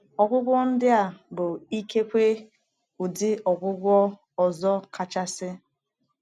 Ọgwụgwọ ndị a bụ ikekwe ụdị ọgwụgwọ ọzọ kachasị.